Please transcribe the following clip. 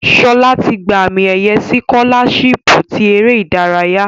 Shola ti gba ami-eye sikolashipu ti ere idaraya